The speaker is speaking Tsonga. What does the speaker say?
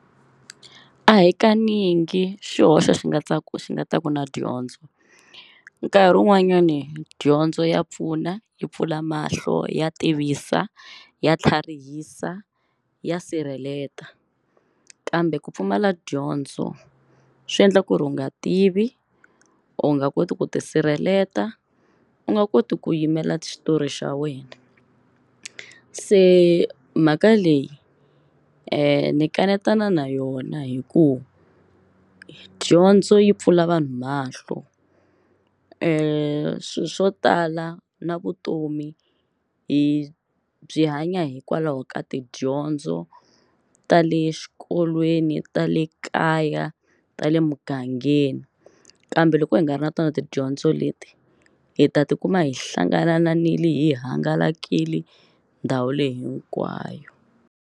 A hi kanyingi xihoxo xi nga ta ku xi nga ta ku na dyondzo. Nkarhi wun'wanyani dyondzo ya pfuna yi pfula mahlo, ya tivisa, ya tlharihisa, ya sirheleta. Kambe ku pfumala dyondzo swi endla ku ri u nga tivi, u nga koti ku tisirheletela, u nga koti ku yimela xitori xa wena. Se mhaka leyi ni kanetana na yona hikuva dyondzo yi pfula vanhu mahlo, swi swo tala na vutomi hi byi hanya hikwalaho ka tidyondzo ta le xikolweni, ta le kaya, ta le mugangeni kambe loko hi nga ri na tona tidyondzo leti hi ta tikuma hi hlanganile hi hangalakile ndhawu leyi hinkwayo.